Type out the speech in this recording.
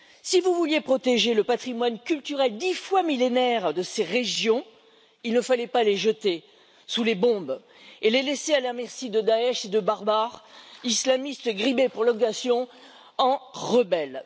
Si vous vouliez protéger le patrimoine culturel dix fois millénaire de ces régions, il ne fallait pas le jeter sous les bombes, ni le laisser à la merci de Daech et de barbares islamistes grimés pour l'occasion en rebelles.